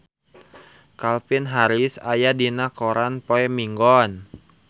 Calvin Harris aya dina koran poe Minggon